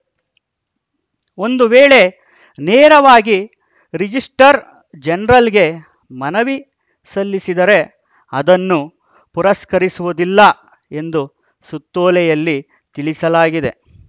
ಒಂದು ವೇಳೆ ನೇರವಾಗಿ ರಿಜಿಸ್ಟರ್ ಜನರಲ್‌ಗೆ ಮನವಿ ಸಲ್ಲಿಸಿದರೆ ಅದನ್ನು ಪುರಸ್ಕರಿಸುವುದಿಲ್ಲ ಎಂದು ಸುತ್ತೋಲೆಯಲ್ಲಿ ತಿಳಿಸಲಾಗಿದೆ